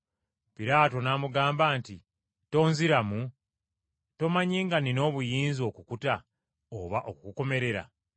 Piraato n’amugamba nti, “Tonziramu? Tomanyi nga nnina obuyinza okukuta oba okukukomerera?”